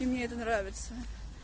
и мне это нравится